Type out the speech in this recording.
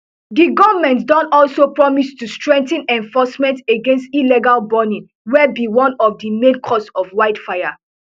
di goment don also promise to strengthen enforcement against illegal burning wey be one of di main causes of wildfire